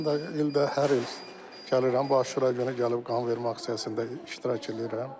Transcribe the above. Mən də ildə hər il gəlirəm, Aşura günü gəlib qanvermə aksiyasında iştirak eləyirəm.